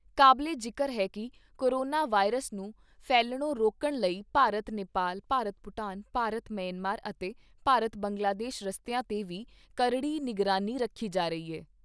ਕਾਬਲੇ ਜਿਕਰ ਹੈ ਕਿ ਕੋਰੋਨਾ ਵਾਇਰਸ ਨੂੰ ਫੈਲ਼ਣੋ ਰੋਕਣ ਲਈ ਭਾਰਤ ਨੇਪਾਲ, ਭਾਰਤ ਭੂਟਾਨ, ਭਾਰਤ ਮਯਨਮਾਰ ਅਤੇ ਭਾਰਤ ਬੰਗਲਾਦੇਸ਼ ਰਸਤਿਆਂ ਤੇ ਵੀ ਕਰੜੀ ਨਿਗਰਾਨੀ ਰੱਖੀ ਜਾ ਰਹੀ ਹੈ।